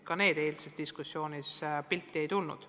Ka nemad eilses diskussioonis pildile ei tulnud.